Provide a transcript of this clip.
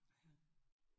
Ja